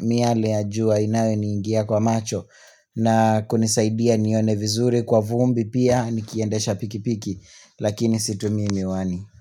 miale ya jua inayo niingia kwa macho na kunisaidia nione vizuri kwa vumbi pia nikiendesha pikipiki lakini situmii miwani.